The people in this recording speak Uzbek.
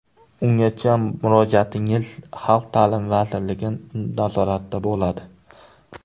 Ungacha murojaatingiz Xalq ta’limi vazirligi nazoratida bo‘ladi”.